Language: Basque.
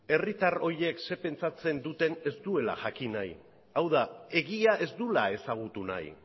herritar horiek zer pentsatzen duten ez duela jakin nahi hau da egia ez duela ezagutu nahi